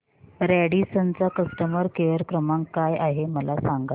Radisson चा customer care क्रमांक काय आहे मला सांगा